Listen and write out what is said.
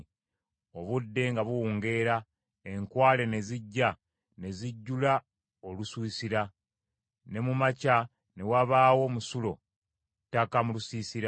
Obudde nga buwungeera enkwale ne zijja ne zijjula olusiisira; ne mu makya ne wabaawo omusulo ku ttaka mu lusiisira.